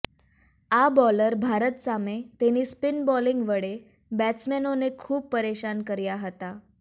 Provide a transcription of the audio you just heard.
આ બોલર ભારત સામે તેની સ્પિન બોલીંગ વડે બેટ્સમેનોને ખૂબ પરેશાન કર્યા હતા